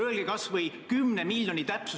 Summa koosneb liidetavatest.